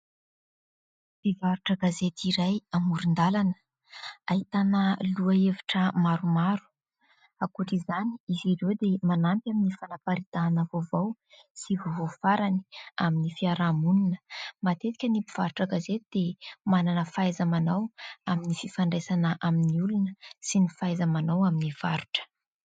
Mpivarotra gazety iray amoron-dàlana ahitana lohahevitra maromaro. Ankoatra izany, izy ireo dia manampy amin'ny fanaparitahana vaovao sy vaovao farany amin'ny fiarahamonina. Matetika ny mpivarotra gazety dia manana fahaiza-manao amin'ny fifandraisana amin'ny olona sy ny fahaiza-manao amin'ny varotra.